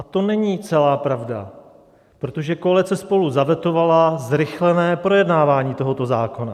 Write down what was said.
A to není celá pravda, protože koalice SPOLU zavetovala zrychlené projednávání tohoto zákona.